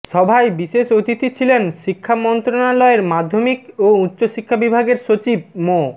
সভায় বিশেষ অতিথি ছিলেন শিক্ষা মন্ত্রণালয়ের মাধ্যমিক ও উচ্চ শিক্ষা বিভাগের সচিব মো